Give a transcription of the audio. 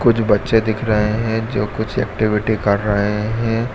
कुछ बच्चे दिख रहे है जो कुछ एक्टिविटी कर रहे हैं।